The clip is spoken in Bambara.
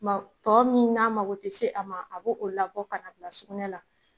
Tɔ min n'a mako tɛ se a ma , a b'o labɔ ka bila sugunɛ la